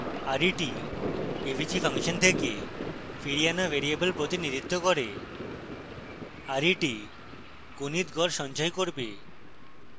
ret avg function থেকে ফিরিয়ে আনা ভ্যারিয়েবল প্রতিনিধিত্ব করে ret গণিত গড় সঞ্চয় করবে